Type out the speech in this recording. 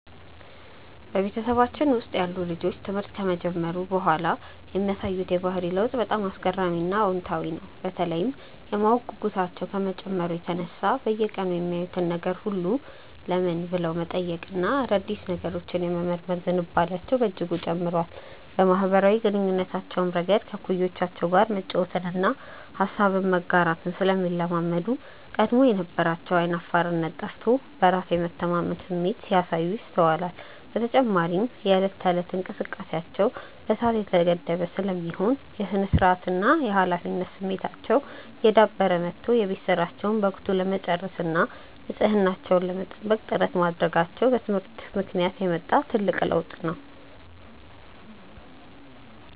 በቤተሰባችን ውስጥ ያሉ ልጆች ትምህርት ከጀመሩ በኋላ የሚያሳዩት የባህሪ ለውጥ በጣም አስገራሚና አዎንታዊ ነው፤ በተለይም የማወቅ ጉጉታቸው ከመጨመሩ የተነሳ በየቀኑ የሚያዩትን ነገር ሁሉ "ለምን?" ብለው የመጠየቅና አዳዲስ ነገሮችን የመመርመር ዝንባሌያቸው በእጅጉ ጨምሯል። በማኅበራዊ ግንኙነታቸውም ረገድ ከእኩዮቻቸው ጋር መጫወትንና ሐሳብን መጋራትን ስለሚለማመዱ፣ ቀድሞ የነበራቸው ዓይን አፋርነት ጠፍቶ በራስ የመተማመን ስሜት ሲያሳዩ ይስተዋላል። በተጨማሪም የዕለት ተዕለት እንቅስቃሴያቸው በሰዓት የተገደበ ስለሚሆን፣ የሥነ-ስርዓትና የኃላፊነት ስሜታቸው እየዳበረ መጥቶ የቤት ሥራቸውን በወቅቱ ለመጨረስና ንጽሕናቸውን ለመጠበቅ ጥረት ማድረጋቸው በትምህርት ምክንያት የመጣ ትልቅ ለውጥ ነው።